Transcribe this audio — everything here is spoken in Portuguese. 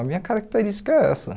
A minha característica é essa.